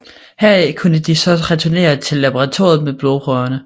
Herfra kunne de så returnere til laboratoriet med blodprøverne